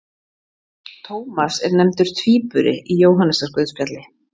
Tómas er nefndur tvíburi í Jóhannesarguðspjalli.